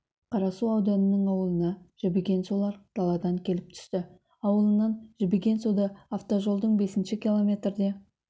қарасу ауданының ауылына жібіген сулар даладан келіп түсті ауылынан жібіген суды автожолдың бесінші километрде